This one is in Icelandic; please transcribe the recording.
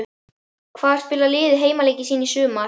Hvar spilar liðið heimaleiki sína í sumar?